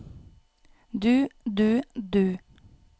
du du du